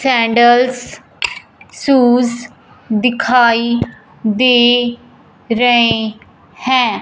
Candles shoes दिखाई दे रऐ हैं।